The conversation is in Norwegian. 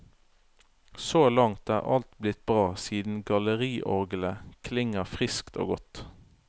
Så langt er alt blitt bra siden galleriorglet klinger friskt og godt.